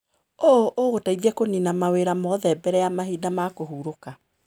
ũũ ũgũteithia kũnina mawĩra mothe mbere ya mahinda ma kũhurũka.